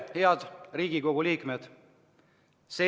Head Riigikogu liikmed!